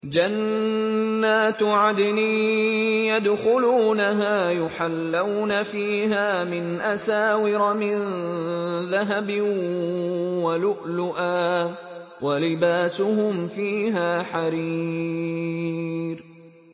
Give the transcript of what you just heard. جَنَّاتُ عَدْنٍ يَدْخُلُونَهَا يُحَلَّوْنَ فِيهَا مِنْ أَسَاوِرَ مِن ذَهَبٍ وَلُؤْلُؤًا ۖ وَلِبَاسُهُمْ فِيهَا حَرِيرٌ